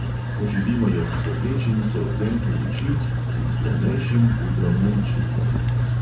Poživimo jo s svetlečimi se odtenki ličil in s temnejšim pudrom na ličnicah.